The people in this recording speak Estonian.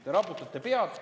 Te raputate pead.